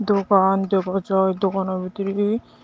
rupan dega jai dogano bidire.